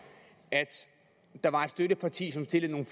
at der var et støtteparti som stillede